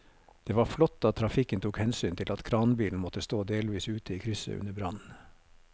Det var flott at trafikken tok hensyn til at kranbilen måtte stå delvis ute i krysset under brannen.